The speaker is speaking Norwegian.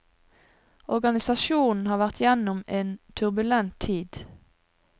Organisasjonen har vært igjennom en turbulent tid.